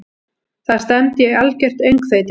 Það stefndi í algjört öngþveiti.